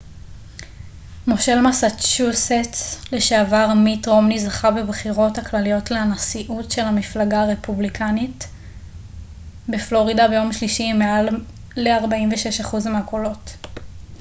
מושל מסצ'וסטס לשעבר מיט רומני זכה בבחירות הכלליות לנשיאות של המפלגה הרפובליקאית בפלורידה ביום שלישי עם מעל ל 46% מהקולות